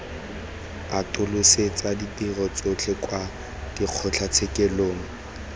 atolosetsa ditirelo tsotlhe kwa dikgotlatshekelong